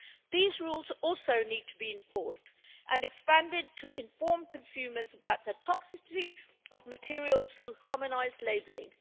These rules also need to be enforced and expanded to inform consumers about the toxicity of materials through harmonised labelling.